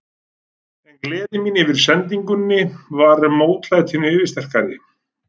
En gleði mín yfir sendingunni var mótlætinu yfirsterkari.